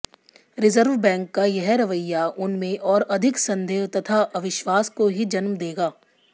reserve Bank का यह रवैया उनमें और अधिक संदेह तथा अविश्वास को ही जन्म देगा